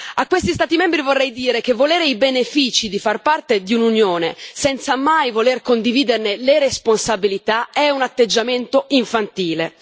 A questi Stati membri vorrei dire che volere i benefici di far parte di un'Unione senza mai volerne condividere le responsabilità è un atteggiamento infantile.